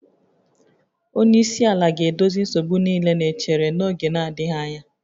Onye isi ala ga-edozi nsogbu niile na-echere n'oge adịghị anya